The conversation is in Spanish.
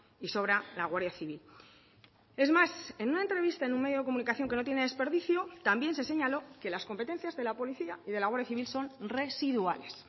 y sobra la guardia civil es más en una entrevista en un medio de comunicación que no tiene desperdicio también se señaló que las competencias de la policía y de la guardia civil son residuales